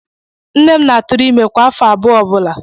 Nne m na-atụrụ ime kwa afọ abụọ ọ bụla.